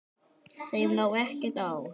Þeim lá ekkert á.